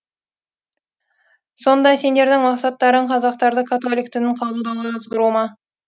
сонда сендердің мақсаттарың қазақтарды католик дінін қабылдауға азғыру ма